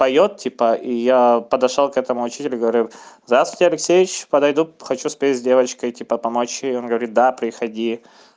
поёт типа и я подошёл к этому учителю говорю здравствуйте алексеевич подойду хочу спеть с девочкой типа помочь ей он говорит да приходи